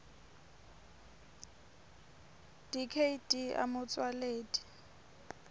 dkt a motsoaledi